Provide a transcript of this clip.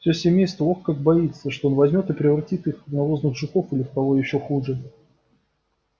все семейство ох как боится что он возьмёт и превратит их в навозных жуков или в кого ещё хуже